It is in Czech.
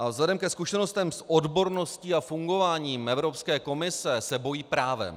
A vzhledem ke zkušenostem s odborností a fungováním Evropské komise se bojí právem.